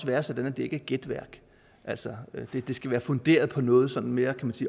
være sådan at det ikke er gætværk altså det det skal være funderet i noget mere